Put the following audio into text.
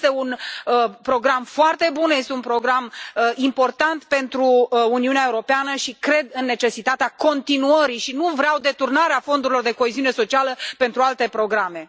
Este un program foarte bun, este un program important pentru Uniunea Europeană și cred în necesitatea continuării și nu vreau deturnarea fondurilor de coeziune socială pentru alte programe.